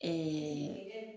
Ɛɛɛ